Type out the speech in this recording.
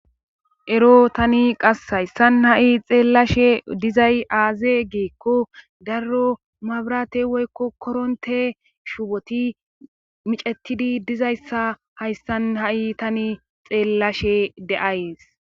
Ero tani qass hayssan ha'i xeellashe dizay aaze geekko darro mabrate woykko koronte shuuboti micetidi dizayssa hayssan ha'i tani xeellashe deays